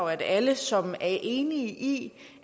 at alle som er enige i